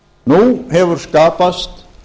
nú hefur skapast